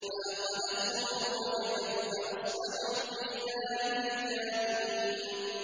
فَأَخَذَتْهُمُ الرَّجْفَةُ فَأَصْبَحُوا فِي دَارِهِمْ جَاثِمِينَ